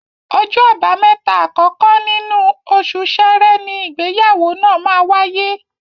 Ọjọ́ Àbámẹ́ta àkọ́kọ́ nínú oṣù Ṣẹrẹ ni ìgbéyàwó náà máa wáyé